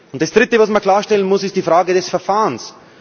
Das Dritte, was man klarstellen muss, ist die Frage des Verfahrens.